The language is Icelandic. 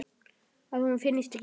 Að hún finnist ekki.